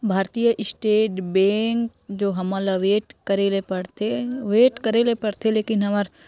भारतीय state bank जो हमर ला वेट करे ले परते वेट करे ले परथे लेकिन हमर--